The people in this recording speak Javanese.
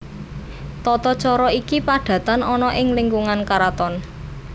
Tata cara iki padatan ana ing lingkungan karaton